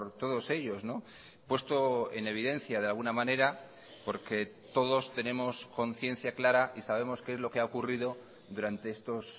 todos ellos puesto en evidencia de alguna manera porque todos tenemos conciencia clara y sabemos qué es lo que ha ocurrido durante estos